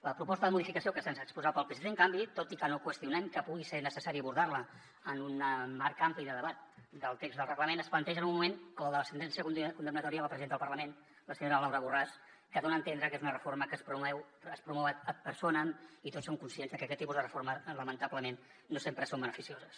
la proposta de modificació que se’ns ha exposat pel psc en canvi tot i que no qüestionem que pugui ser necessari abordar la en un marc ampli de debat del text del reglament es planteja en un moment com el de la sentència condemnatòria a la presidenta del parlament la senyora laura borràs que dona a entendre que és una reforma que es promou ad personamaquests tipus de reforma lamentablement no sempre són beneficioses